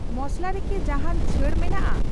ᱢᱚᱥᱞᱟ ᱨᱮ ᱠᱤ ᱡᱟᱦᱟᱱ ᱪᱷᱟᱹᱲ ᱢᱮᱱᱟᱜᱼᱟ ?